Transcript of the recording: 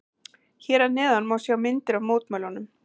Hér að neðan má sjá myndir af mótmælunum.